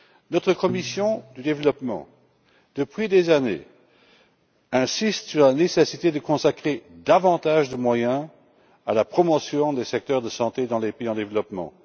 Notre commission du développement, depuis des années, insiste sur la nécessité de consacrer davantage de moyens à la promotion des secteurs de santé dans les pays en développement.